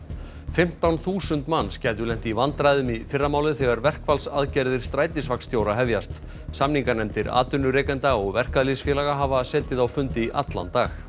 fimmtán þúsund manns gætu lent í vandræðum í fyrramálið þegar verkfallsaðgerðir hefjast samninganefndir atvinnurekenda og verkalýðsfélaga hafa setið á fundi í allan dag